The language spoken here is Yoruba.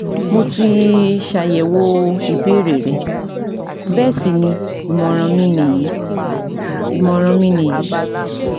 Mo ti ṣàyẹ̀wò ìbéèrè rẹ bẹ́ẹ̀ sì ni ìmọ̀ràn mi nìyí ìmọ̀ràn mi nìyí